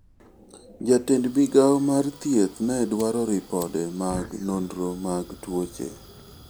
Jatend migawo mar thieth ne dwaro ripode mag nonro mag tuoche.